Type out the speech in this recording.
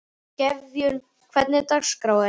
Gefjun, hvernig er dagskráin?